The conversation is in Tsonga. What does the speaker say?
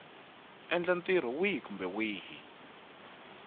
endla ntirho wihi kumbe wihi